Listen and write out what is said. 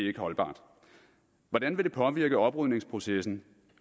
ikke holdbart hvordan vil det påvirke oprydningsprocessen